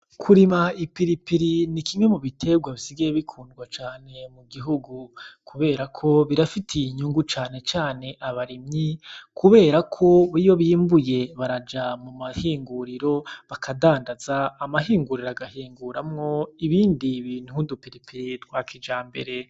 Kurima ipilipili ni kimwe mu biterwa bisigaye bikundwa cane mu gihugu kuberako birafitiye inyungu cane cane abarimyi kuberako iyo bimbuye baraja mumahinguriro bakadandaza amahinguriro agahinguramwo ibindi bintu nk'udupilipili twa kijambere.